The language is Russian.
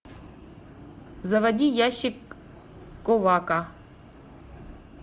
заводи ящик ковака